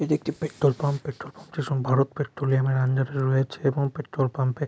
এটি একটি petrol pump. Petrol pump -টি ভারত পেট্রোলিয়ামের আন্ডার -রে রয়েছে এবং পেট্রোল পাম্পে ।